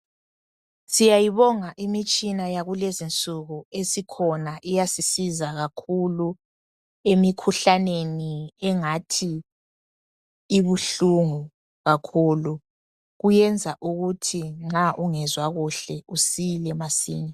Siyayibonga imitshina yakulezinsuku esikhona iyasisiza kakhulu emikhuhlaneni engathi ibuhlungu kakhulu kuyenza ukuthi nxa ungezwa kuhle usile masinya.